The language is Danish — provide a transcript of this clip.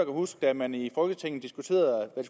huske da man i folketinget diskuterede hvad